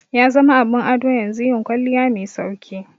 Yazama abin ado yanzu yin kwalliya mai sauki